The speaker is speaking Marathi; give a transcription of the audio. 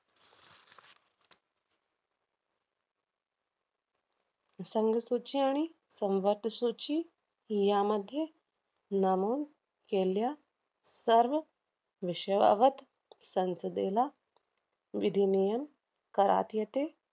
संघसूची आणि सूची यामध्ये नमून केल्या सर्व विषयावत संसदेला विधिनियन करात येते.